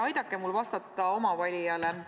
Aidake mul vastata oma valijale!